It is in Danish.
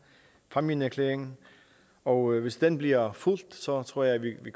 fámjinerklæringen og hvis den bliver fulgt tror tror jeg at vi